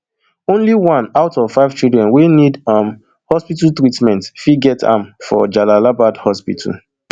only one out of five children wey need um hospital treatment fit get am for jalalabad hospital